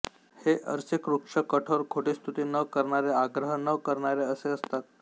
हे अरसिक रुक्ष कठोर खोटी स्तुती न करणारे आग्रह न करणारे असे असतात